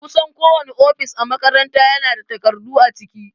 Kusan kowane ofis a makaranta ya na da takardu a ciki